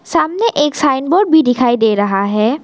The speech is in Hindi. सामने एक साइन बोर्ड भी डिखाई डे रहा है।